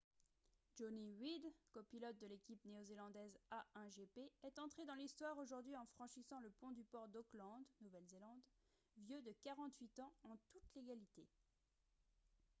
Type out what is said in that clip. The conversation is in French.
jonny reid copilote de l’équipe néo-zélandaise a1gp est entré dans l’histoire aujourd’hui en franchissant le pont du port d’auckland nouvelle-zélande vieux de 48 ans en toute légalité